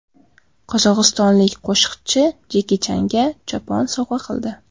Qozog‘istonlik qo‘shiqchi Jeki Changa chopon sovg‘a qildi.